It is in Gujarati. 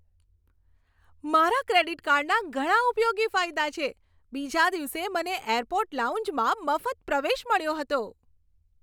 મારા ક્રેડિટ કાર્ડના ઘણા ઉપયોગી ફાયદા છે. બીજા દિવસે મને એરપોર્ટ લાઉન્જમાં મફત પ્રવેશ મળ્યો હતો.